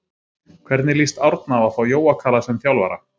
Hvernig lýst Árna á að fá Jóa Kalla sem þjálfara?